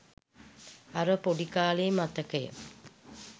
අර පොඩි කාලේ මතකය